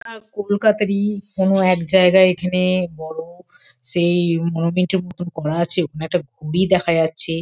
আহ কলকাতারই কোনো এক জায়গায় এখানে বড় সেই মতন করা আছে ওখানে একটা ঘুরি দেখা যাচ্ছে।